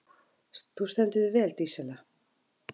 Þú stendur þig vel, Dísella!